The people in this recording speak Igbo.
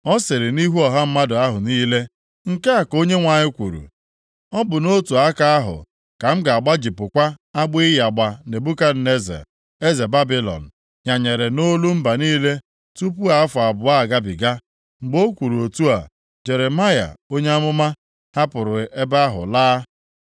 Ọ sịrị nʼihu ọha mmadụ ahụ niile, “Nke a ka Onyenwe anyị kwuru: ‘Ọ bụ nʼotu aka ahụ ka m ga-agbajipụkwa agbụ ịyagba Nebukadneza, eze Babilọn nyanyere nʼolu mba niile tupu afọ abụọ agabiga.’ ” Mgbe o kwuru otu a, Jeremaya onye amụma hapụrụ ebe ahụ laa.